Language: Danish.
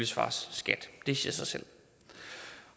svares skat det siger sig selv